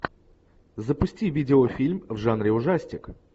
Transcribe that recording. запусти видеофильм в жанре ужастик